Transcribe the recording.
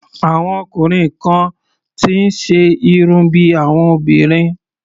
Àwọn ọkùnrin kan ti ń ṣe irun bí àwọn obìnrin.